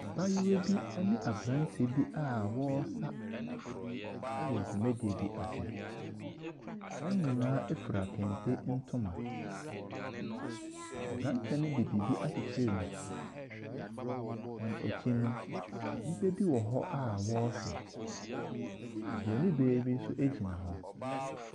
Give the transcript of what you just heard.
Abaayewa bi ɛne aberanteɛ bi a wɔresa ɛwɔ dwumadie ase. Wɔn nyinaa ɛfira kente ntoma. Aberante no de biribi akyekyere ne ti. Wɔn akyi no, nnipa bi wɔ hɔ a wɔrehwɛ. Obronin baa bi nso ɛgyina hɔ.